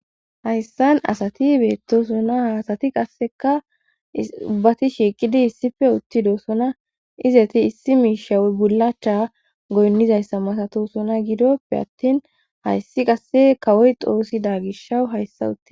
hayssan asati beettosona ha asati qasseka ubbati shiqidi issife uttidosona izeti issi miisha bulacha goynnizayssa masato sona gidoppe attin hayssi qasse kawoy xoossida gishawu hayssa uti